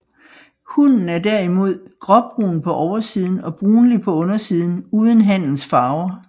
Hunnen er derimod gråbrun på oversiden og brunlig på undersiden uden hannens farver